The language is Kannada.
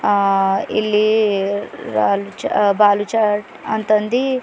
ಆ ಇಲ್ಲಿ ರಾಲುಚ ಬಾಲುರ್ಚಟ್ ಅಂತ್ ಅಂದಿ--